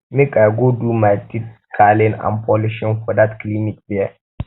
make um i um go do my teeth scaling and polishing for dat clinic there